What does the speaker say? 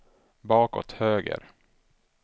bakåt höger